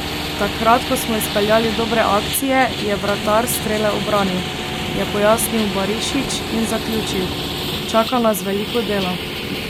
Takrat, ko smo izpeljali dobre akcije, je vratar strele ubranil," je pojasnil Barišić in zaključil: "Čaka nas veliko dela.